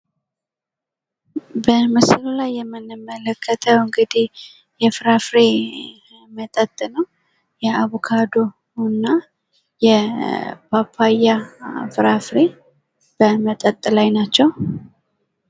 በምሥሉ ላይ የምንመለከተው እንግዲህ የፍራፍሬ መጠጥ ነው። የአቦካዶና የፓፓያ ፍራፍሬ በመጠጥ ላይ ናቸው።